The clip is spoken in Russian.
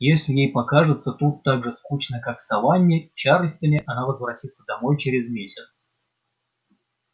если ей покажется тут так же скучно как в саванне и чарльстоне она возвратится домой через месяц